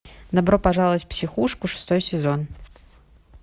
добро пожаловать в психушку шестой сезон